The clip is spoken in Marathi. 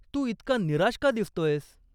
तू इतका निराश का दिसतोयस?